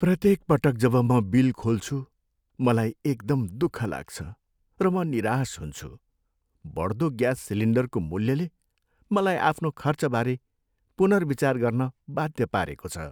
प्रत्येक पटक जब म बिल खोल्छु, मलाई एकदम दुःख लाग्छ र म निराश हुन्छु। बढ्दो ग्यास सिलिन्डरको मूल्यले मलाई आफ्नो खर्चबारे पुनर्विचार गर्न बाध्य पारेको छ।